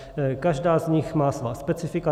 Každá z nich má svá specifika.